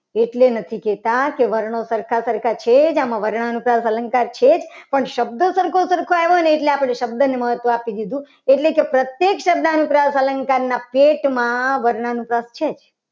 એટલે નથી કહેતા. કે વણો સરખા સરખા છે. આમાં વર્ણના અનુપ્રાસ અલંકાર છે. પણ શબ્દો સરખા સરખો આવ્યો હોય ને એટલે આપણે શબ્દને મહત્વ આપી દીધું એટલે કે પ્રત્યેક શબ્દ અનુપ્રાસ અલંકારના પેટમાં વર્ણ અનુપ્રાસ છે.